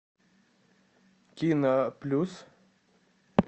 кино плюс